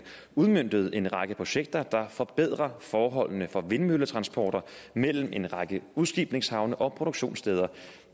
udmøntet en række projekter der forbedrer forholdene for vindmølletransporter mellem en række udskibningshavne og produktionssteder